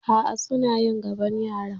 A'a, suna yi gabon yaran.